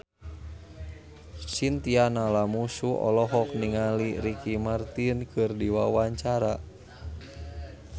Chintya Lamusu olohok ningali Ricky Martin keur diwawancara